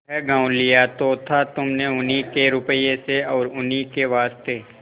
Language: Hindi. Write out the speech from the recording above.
वह गॉँव लिया तो था तुमने उन्हीं के रुपये से और उन्हीं के वास्ते